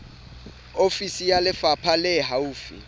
ofisi ya lefapha le haufi